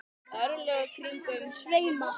örlög kringum sveima